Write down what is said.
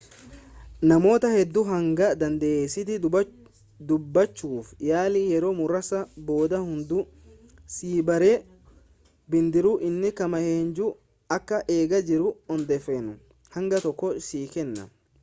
namoota hedduu hanga dandeessetti dubbachuuf yaali yeroo muraasa booda hunduu si baree bidiruun inni kam eenyuun akka eegaa jiru odeeffannoo hanga tokko sii kenna